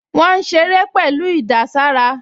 Wọ́n ń ṣeré pẹ̀lú ìdàsára